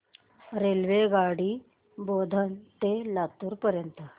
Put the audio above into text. रेल्वेगाडी बोधन ते लातूर पर्यंत